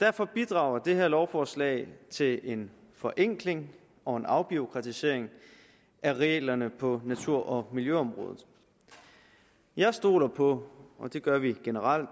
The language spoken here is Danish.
derfor bidrager det her lovforslag til en forenkling og en afbureaukratisering af reglerne på natur og miljøområdet jeg stoler på og det gør vi generelt